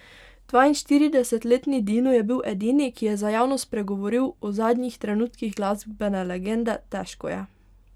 Dvainštiridesetletni Dino je bil edini, ki je za javnost spregovoril o zadnjih trenutkih glasbene legende: "Težko je.